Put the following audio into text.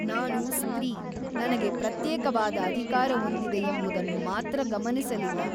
ನಾನು ಸ್ತ್ರೀ ನನಗೆ ಪ್ರತ್ಯೇಕವಾದ ಅಧಿಕಾರವೊಂದಿದೆಯೆಂಬುದನ್ನು ಮಾತ್ರ ಗಮನಿಸಲಿಲ್ಲ.